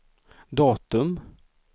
datum